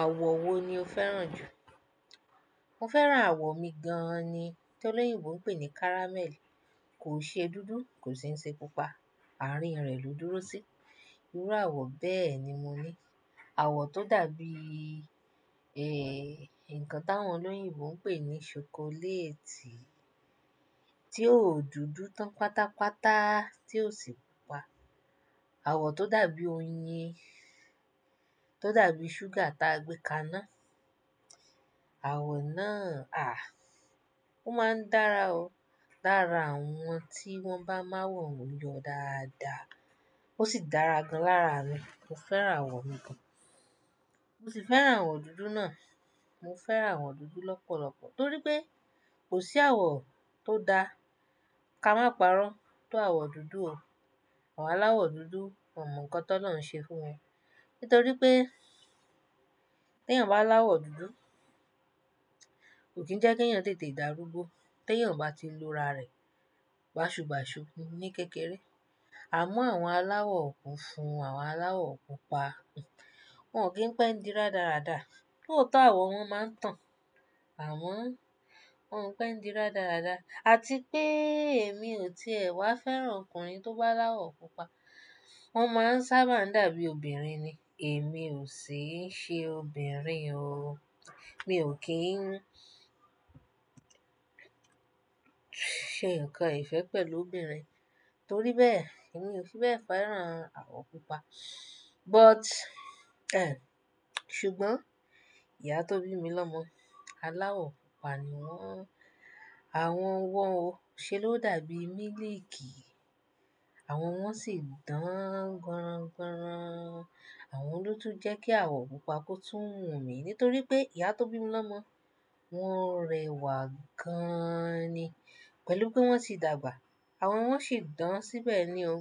Àwọ̀ wo ni o fẹ́ràn jù? Mo fẹ́ràn àwọ̀ mi gan-an ni, tí olóyìnbó ń pè ní caramel. Kò ṣe dúdú, kò sì ṣe pupa, àárín rẹ̀ ló dúró sí. Irú àwọ̀ bẹ́ẹ̀ ni mo ní. Àwọ̀ tó dàbí, ẹ, nǹkan táwọn olóyìnbó ń pè ní ṣokoléètì, tí ó dúdú tán pátápátá, tí ò sì pupa. Àwọ̀ tó dàbí oyin, tó dàbí ṣúgà ta gbé ka ná. Àwọ̀ náà, àh, ó máa ń dára o. Lára àwọn tí wọ́n bá má wọ̀ lọ dáadáa. Ó sì dára gan lára mi. Mo fẹ́ràn àwọ̀ mi gan. Mo sì fẹ́ràn àwọ̀ dúdú náà. Mo fẹ́ràn àwọ̀ dúdú lọ́pọ̀lọpọ̀ torí pé kò sí àwọ̀ tó da ká má parọ́ tó àwọ̀ dúdú o. Àwọn aláwọ̀ dúdú, won mọ nǹkan ti olọ́run ṣe fún wọn. Nítorí pé tí ẹ̀eyàn bá láwọ̀ dúdú, kò kí ń jẹ́ kí ẹ̀eyàn tètè dàrúgbó. Tí ẹ̀eyàn oo bá ti lora rẹ̀, bàṣubàṣu ni kékeré. Àmọ́ àwọn aláwọ̀ funfun, àwọn aláwọ̀ pupa, wọ́n ò kí ń pẹ́ ń di radáradá. Lootó àwọ̀ wọn máa ń tàn, àmo, wọ́n ò pe ń di radáradá. Àti pé èmi ò ti è wá fẹ́ràn ọkùnrin tó bá láwọ̀ pupa. Wọ́n máa ń sábà dàbí obìnrin ni. Èmi ò sì ṣe obìnrin o. Mi ò kí ń ṣe nǹkan ìfẹ́ pẹ̀lú obìnrin. Torí bẹ́ẹ̀ èmi ò fi bẹ́ẹ̀ fẹ́ràn àwọ̀ pupa. But, ẹ, ṣùgbọ́n ìyá tó bí mi lọ́mọ aláwọ̀ pupa ni wọ́n. Àwọn wọn o, ṣe ló dàbí mílíìkì. Àwọn wọn sì dàn ganran ganran. Àwọn ló tún jẹ́ kí àwọ̀ pupa kó tún wù mí nítorí pé ìyá tó bí mi lọ́mọ, wọ́n rẹwà gaaani. Pẹ̀lú pé wọ́n tì dàgbà. Àwọn wọn sì dàn síbẹ̀ ni o.